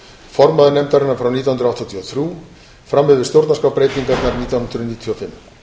formaður nefndarinnar frá nítján hundruð áttatíu og þrjú fram yfir stjórnarskrárbreytingarnar nítján hundruð níutíu og fimm